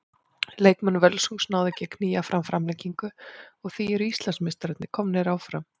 Leikmenn Völsungs náðu ekki að að knýja fram framlengingu og því eru Íslandsmeistararnir komnir áfram.